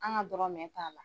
An ka dɔrɔnmɛn t'a la.